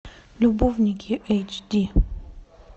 любовники эйч ди